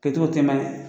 Kɛcogo tɛ mɛn